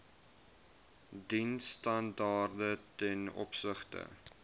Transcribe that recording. diensstandaarde ten opsigte